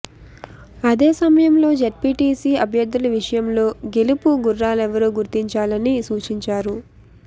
అదే సమయంలో జడ్పీటీసీ అభ్యర్థుల విషయంలో గెలుపు గుర్రాలెవరో గుర్తించాలని సూచించారు